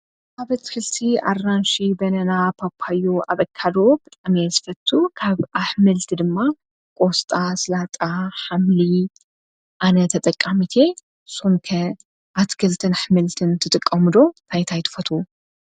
ኣበት ክልቲ ኣራንሽ በነና ጳጳዮ ኣበካዶ ብጣሜ ስፈቱ ካብ ኣኅምልቲ ድማ ቖስጣ ሥላጣ ኃምሊ ኣነ ተጠቃሚቴ ሶምከ ኣቲ ገልተን ኣኅምልትን ትጥቃሙዶ ታይት ኣይትፈቱ